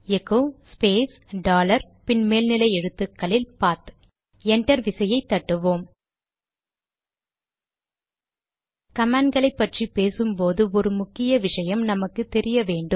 echo space dollar பின் மேல் எழுத்துக்களில் பாத்PATH என்டர் விசையை தட்டுவோம் கமாண்ட் களை பற்றி பேசும்போது ஒரு முக்கிய விஷயம் நமக்கு தெரிய வேண்டும்